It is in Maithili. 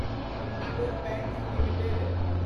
indigo pants limited